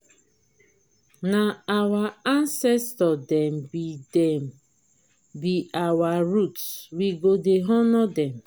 na our ancestor dem be dem be our root we go dey honour dem.